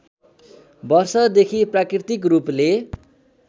वर्षदेखि प्राकृतिक रूपले